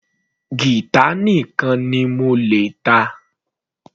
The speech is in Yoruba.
Guitar nìkan ni mo lè ta.